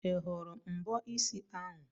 Ị hụrụ mbọ isi ahụ?